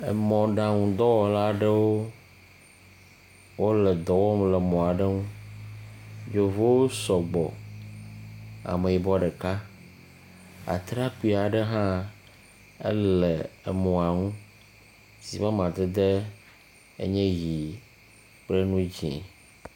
Emɔɖeŋudɔwɔla aɖewo wo le dɔ wɔm le emɔ aɖe ŋu. Yevuwo sɔgbɔ. Ameyibɔ ɖeka. Atrakpi aɖe hã enɔ mɔ ŋu si ƒe amadedewo enye ʋi kple ŋu dzi.